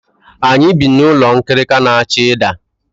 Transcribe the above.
Anyị bi n'ụlọ nkirika na-achọ ịda.